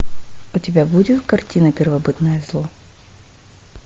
у тебя будет картина первобытное зло